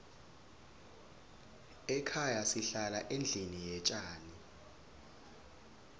ekhaya sihlala endlini yetjani